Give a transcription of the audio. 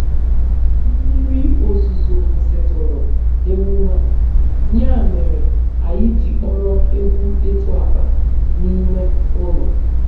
Mmiri ozuzo kwusitụrụ emume a, ya mere anyị ji kpọrọ egwu ịtụ akpa n'ime ụlọ.